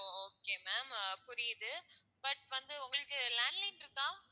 ஓ okay ma'am ஆஹ் புரியுது but வந்து உங்களுக்கு landline இருக்கா?